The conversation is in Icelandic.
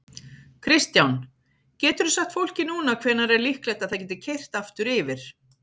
Kristján: Geturðu sagt fólki núna hvenær er líklegt að það geti keyrt aftur yfir?